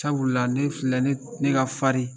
Sabula la ne filɛ ne dun ne ka farin